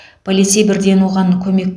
полицей бірден оған көмек